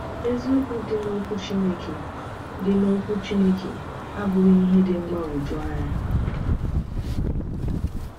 Eziokwu dị n’Ọkwú Chineke dị n’Ọkwú Chineke abụghị ihe dị mgbagwoju anya.